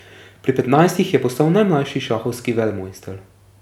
Pri petnajstih je postal najmlajši šahovski velemojster.